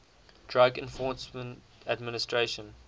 drug enforcement administration